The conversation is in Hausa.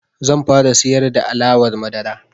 Zan fara siyar da alawar madara.